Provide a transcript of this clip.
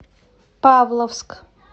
павловск